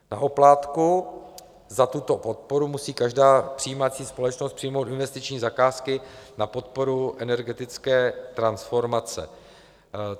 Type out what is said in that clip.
Na oplátku za tuto podporu musí každá přijímající společnost přijmout investiční zakázky na podporu energetické transformace.